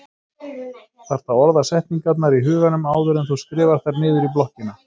Þarft að orða setningarnar í huganum áður en þú skrifar þær niður í blokkina.